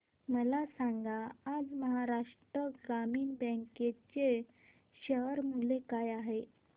मला सांगा आज महाराष्ट्र ग्रामीण बँक चे शेअर मूल्य काय आहे